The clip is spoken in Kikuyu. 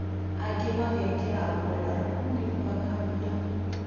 Angĩ mageekĩra nguo ndarũku nĩkwaga mbia